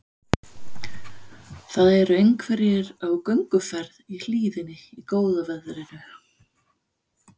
Það eru einhverjir á gönguferð í hlíðinni í góða veðrinu.